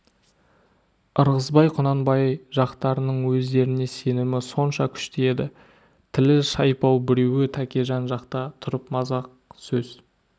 ырғызбай құнанбай жақтарының өздеріне сенімі сонша күшті еді тілі шайпау біреуі тәкежан жақта тұрып мазақ сөз